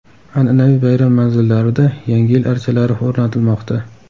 An’anaviy bayram manzillarida Yangi yil archalari o‘rnatilmoqda.